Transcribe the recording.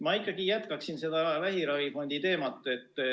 Ma ikkagi jätkan vähiravifondi teemat.